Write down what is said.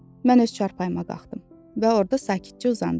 Mən öz çarpayıma qalxdım və orda sakitcə uzandım.